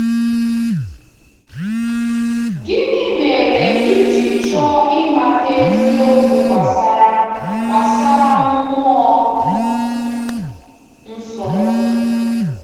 Gịnị mere i ji chọọ ịmata eziokwu gbasara gbasara Mmụọ Nsọ?